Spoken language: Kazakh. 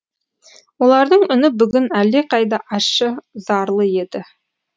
олардың үні бүгін әлдеқайда ащы зарлы еді